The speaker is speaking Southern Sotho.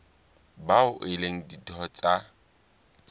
bao e leng ditho tsa